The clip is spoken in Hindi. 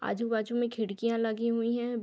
आजु-बाजू में खिड़कियाॅं लगी हुई है।